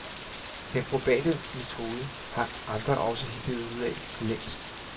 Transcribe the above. Den probate metode har andre også hittet ud af for længst.